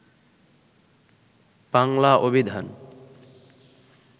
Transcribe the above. বাংলা অভিধান